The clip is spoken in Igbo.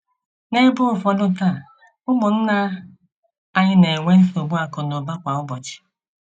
N’ebe ụfọdụ taa, ụmụnna anyị na enwe nsogbu akụ na ụba kwa ụbọchị.